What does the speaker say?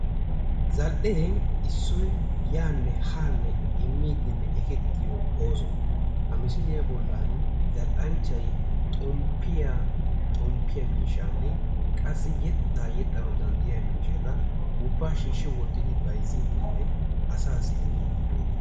Zal"ee issoy yaanne haanne immiiddinne ekettiyo ooso. Ha misiliya bollan zal"anchchay xomppiya xomppiya miishshaanne qassi yettaa yexxanawu danddayiya miishshata ubbaa shiishshi wottidi bayzziiddinne asaassi immiiddi beettees.